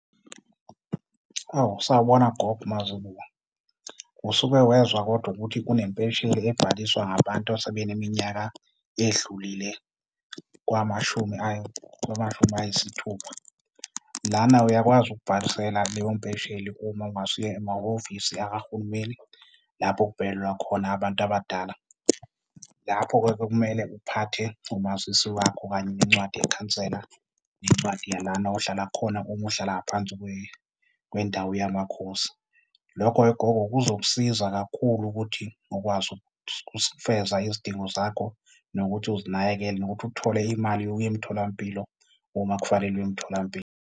Oh, sawubona gogo uMazibuko. Usuke wezwa kodwa ukuthi kunempesheni ebhaliswa ngabantu asebeneminyaka edlulile kwamashumi kwamashumi ayisithupha? Lana uyakwazi ukubhalisela leyo mpesheli uma ungase uye emahhovisi akarhulumeni lapho okubhekelelwa khona abantu abadala. Lapho-ke-ke, kumele uphathe umazisi wakho kanye nencwadi yekhansela, nencwadi yalana ohlala khona uma uhlala ngaphansi kwendawo yamakhosi. Lokho-ke gogo kuzokusiza kakhulu ukuthi ukwazi ukufeza izidingo zakho nokuthi uzinakekele, nokuthi uthole imali yokuya emtholampilo uma kufanele uye emtholampilo.